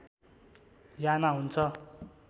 याना हुन्छ